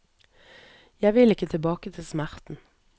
Jeg vil ikke tilbake til smerten.